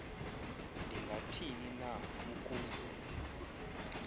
ndingathini na ukuze